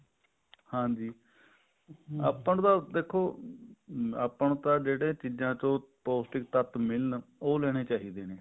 ਹਾਂਜੀ ਆਪਾਂ ਨੂੰ ਤਾਂ ਦੇਖੋ ਆਪਾਂ ਨੂੰ ਜਿਹੜੀ ਚੀਜ਼ਾਂ ਤੋਂ ਪੋਸ਼ਟਿਕ ਤੱਤ ਮਿਲਣ ਉਹ ਲੈਣੇ ਚਾਹੀਦੇ ਨੇ